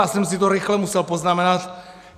Já jsem si to rychle musel poznamenat.